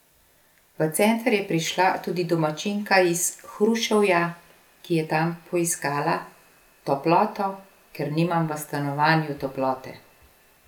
V center je prišla tudi domačinka iz Hruševja, ki je tam poiskala: 'Toploto, ker nimam v stanovanju toplote.